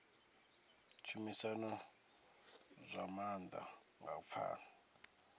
tshumisano zwa maanḓa nga u pfana